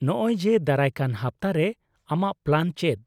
-ᱱᱚᱜ ᱚᱭ ᱡᱮ, ᱫᱟᱨᱟᱭ ᱠᱟᱱ ᱦᱟᱯᱛᱟᱨᱮ ᱟᱢᱟᱜ ᱯᱞᱟᱱ ᱪᱮᱫ ?